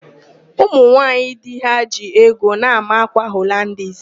Ụmụnwaaanyị di ha ji ego na-ámà ákwà Holandis.